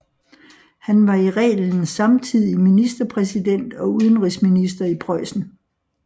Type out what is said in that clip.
Han var i reglen samtidig ministerpræsident og udenrigsminister i Preussen